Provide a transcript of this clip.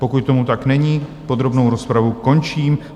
Pokud tomu tak není, podrobnou rozpravu končím.